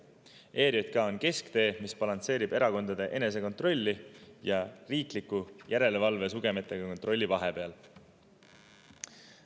ERJK on kesktee, mis balansseerib erakondade enesekontrolli ja riikliku järelevalve sugemetega kontrolli vahepeal.